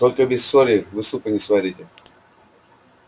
только без соли вы супа не сварите